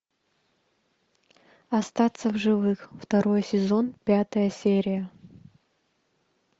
остаться в живых второй сезон пятая серия